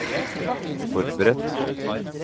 forberedt